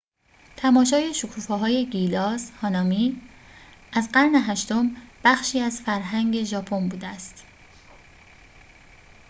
تماشای شکوفه‌های گیلاس هانامی از قرن هشتم بخشی از فرهنگ ژاپن بوده است